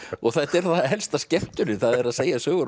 þetta er helsta skemmtunin að segja sögur